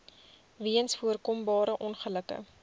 weens voorkombare ongelukke